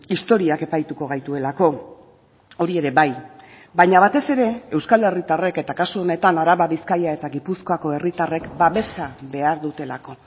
historiak epaituko gaituelako hori ere bai baina batez ere euskal herritarrek eta kasu honetan araba bizkaia eta gipuzkoako herritarrek babesa behar dutelako